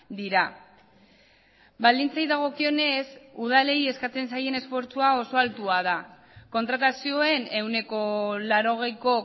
dira baldintzei dagokionez udalei eskatzen zaien esfortzua oso altua da kontratazioen ehuneko laurogeiko